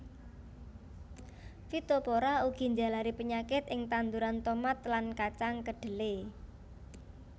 Phytophthora ugi njalari penyakit ing tanduran tomat lan kacang kedhele